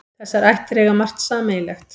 Þessar ættir eiga margt sameiginlegt.